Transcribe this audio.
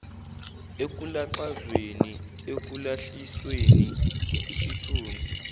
ekulaxazweni ekwehlisweni isithunzi